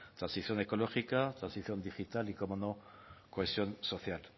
transición ecológica transición digital y cómo no cohesión social